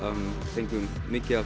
fengum mikið af